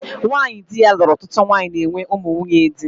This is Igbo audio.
Nwanyị dị ya lụrụ ọtụtụ nwanyị na-enwe ụmụ nwunye di